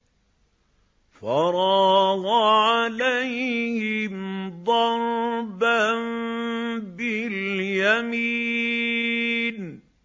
فَرَاغَ عَلَيْهِمْ ضَرْبًا بِالْيَمِينِ